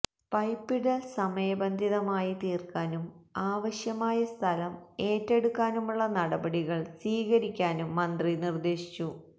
പൈപ്പിടൽ സമയബന്ധിതമായി തീർക്കാനും ആവശ്യമായ സ്ഥലം ഏറ്റെടുക്കാനുള്ള നടപടികൾ സ്വീകരിക്കാനും മന്ത്രി നിർദേശിച്ചു